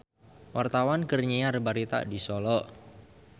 Wartawan keur nyiar berita di Solo